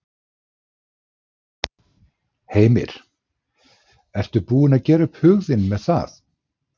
Heimir: Ertu búin að gera upp þinn hug með það?